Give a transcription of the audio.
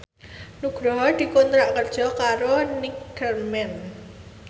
Nugroho dikontrak kerja karo Neckerman